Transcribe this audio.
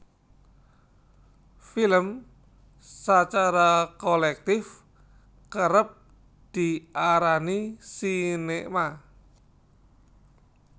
Film sacara kolèktif kérép diarani sinéma